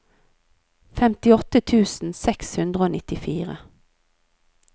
femtiåtte tusen seks hundre og nittifire